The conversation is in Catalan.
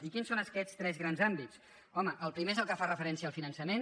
i quins són aquests tres grans àmbits home el pri·mer és el que fa referència al finançament